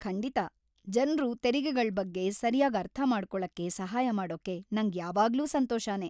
ಖಂಡಿತಾ, ಜನ್ರು ತೆರಿಗೆಗಳ್ ಬಗ್ಗೆ ಸರ್ಯಾಗ್ ಅರ್ಥಮಾಡ್ಕೊಳಕ್ಕೆ ಸಹಾಯ ಮಾಡೋಕೆ ನಂಗ್ ಯಾವಾಗ್ಲೂ ಸಂತೋಷನೇ.